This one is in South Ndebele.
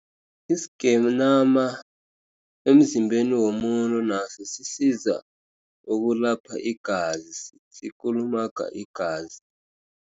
Isigenama emzimbeni womuntu, nasosisiza ukulapha igazi, sikulumaga igazi.